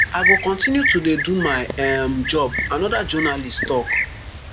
i go continue to do my um job anoda journalist tok